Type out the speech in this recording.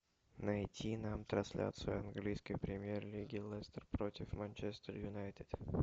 найти нам трансляцию английской премьер лиги лестер против манчестер юнайтед